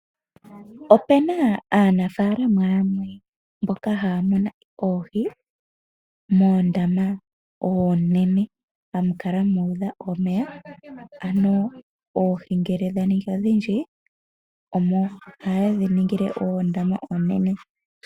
Opuna aanafaalama yamwe mboka haya mono oohi moondama oonene, hamu kala mu udha omeya. Ano oohi ngele dha ningi odhindji omo ha yedhi ningile oondama oonene.